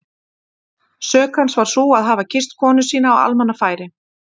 Sök hans var sú að hafa kysst konuna sína á almannafæri!